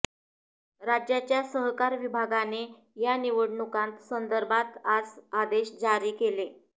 राज्याच्या सहकार विभागाने या निवडणुकांत संदर्भात आज आदेश जारी केले